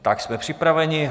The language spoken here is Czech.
Tak jsme připraveni.